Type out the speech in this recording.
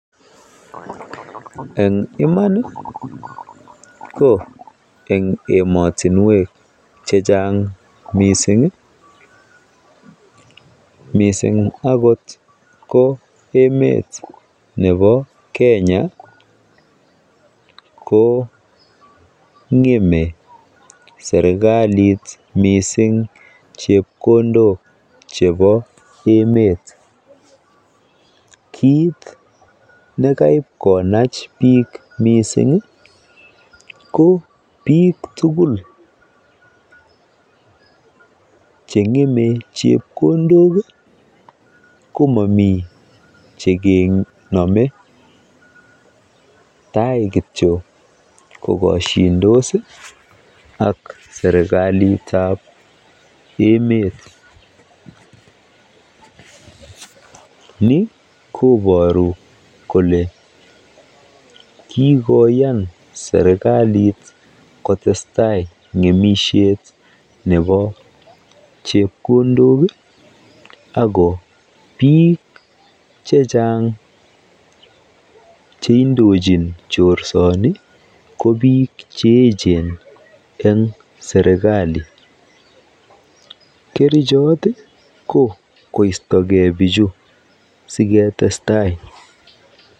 Eng iman ko eng emotinwek chechang mising mising akot ko emet nebo Kenya ko ng'emei serikalit mising chepkondok chebo emet. Kiit nekaipkonach biik mising ko piik tugul cheng'eme chepkondok komami chekenome tai kityo kokoshindos ak serikalit nebo emet. Ni kobooru kole kikoyan serikalit kotestai ng'emisiet nebo chepkondok ako biik chechang cheindochin boisioni ko biik cheechen eng serikali. Kerichot ko koistokei bichu siketestai.